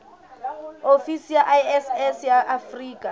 ofisi ya iss ya afrika